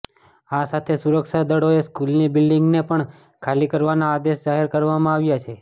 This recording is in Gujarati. આ સાથે જ સુરક્ષાદળોએ સ્કૂલની બિલ્ડિંગને પણ ખાલી કરવાના આદેશ જાહેર કરવામાં આવ્યા છે